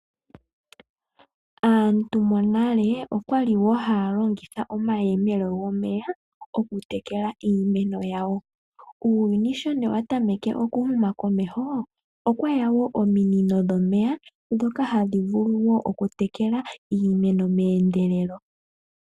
Aantu monale okwali woo haya longitha omayemele gomeya oku tekela iimeno yawo. Uuyuni sho wa tameke oku huma komeho, okweya woo ominino dhomeya ndhoka hadhi vulu oku tekela iimeno meendelelo.